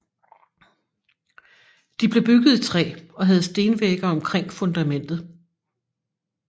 De blev bygget i træ og havde stenvægge omkring fundamentet